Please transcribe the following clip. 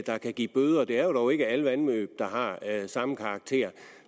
der kan give bøde det er jo dog ikke alle vandløb der har samme karakter